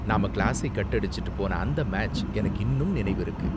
நாம கிளாஸை கட் அடிச்சுட்டு போன அந்த மேட்ச் எனக்கு இன்னும் நினைவிருக்கு.